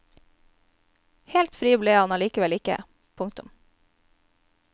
Helt fri ble han likevel ikke. punktum